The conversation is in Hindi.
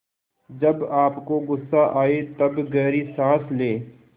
जब आपको गुस्सा आए तब गहरी सांस लें